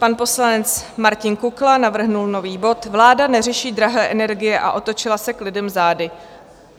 Pan poslanec Martin Kukla navrhl nový bod - Vláda neřeší drahé energie a otočila se k lidem zády.